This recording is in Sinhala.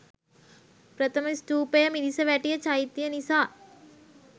ප්‍රථම ස්තූපය මිරිසවැටිය චෛත්‍ය නිසා